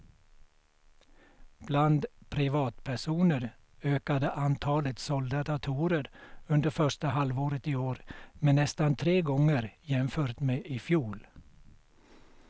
Bland privatpersoner ökade antalet sålda datorer under första halvåret i år med nästan tre gånger jämfört med i fjol.